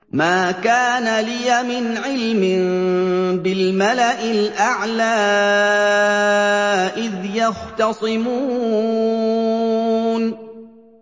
مَا كَانَ لِيَ مِنْ عِلْمٍ بِالْمَلَإِ الْأَعْلَىٰ إِذْ يَخْتَصِمُونَ